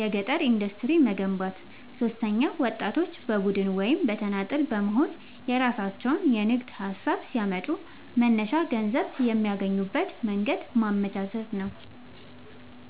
የገጠር ኢንዱስትሪዎችን መገንባት። ሦስተኛው ወጣቶች በቡድን ወይም በተናጠል በመሆንየራሣቸውን የንግድ ሀሳብ ሲያመጡ መነሻ ገንዘብ የሚያገኙበትን መንገድ ማመቻቸት።